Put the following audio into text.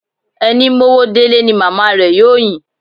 Ẹni mówó délé ni màmá rẹ̀ yóò yìn.